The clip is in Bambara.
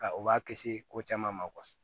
Ka u b'a kisi ko caman ma